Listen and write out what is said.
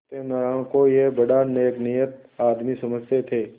सत्यनाराण को यह बड़ा नेकनीयत आदमी समझते थे